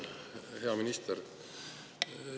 Hea minister!